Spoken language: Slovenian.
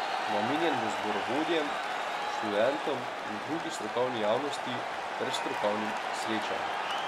Namenjen bo zborovodjem, študentom in drugi strokovni javnosti ter strokovnim srečanjem.